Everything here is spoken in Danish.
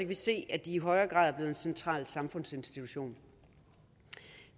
vi se at de i højere grad er blevet en central samfundsinstitution